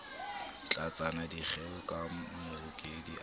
tlatsa dikgeo ka mahokedi a